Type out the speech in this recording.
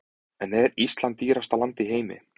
En er Ísland dýrasta land í heimi?